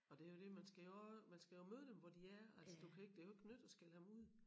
Og det jo det man skal jo også man skal jo møde dem hvor de er altså du kan jo ikke det kan jo ikke nytte at skælde ham ud